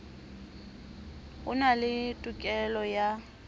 o na le tokelo ya